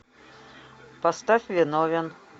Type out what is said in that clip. поставь виновен